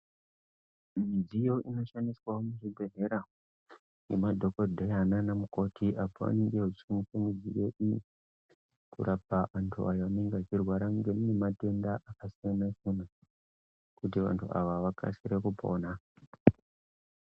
Midziyo inoshandiswawo muzvibhedhlera ngemadhokodheya naanamukoti, apo vanenge vechi... kurapa antu ayo anenge echirwara ngematenda akasiyana-siyana ,kuti vantu ava vakasire kupona.